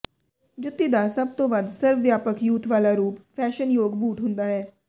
ਜੁੱਤੀ ਦਾ ਸਭ ਤੋਂ ਵੱਧ ਸਰਵ ਵਿਆਪਕ ਯੂਥ ਵਾਲਾ ਰੂਪ ਫੈਸ਼ਨਯੋਗ ਬੂਟ ਹੁੰਦਾ ਹੈ